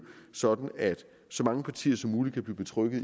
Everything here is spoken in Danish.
sådan at så mange partier som muligt kan blive betrygget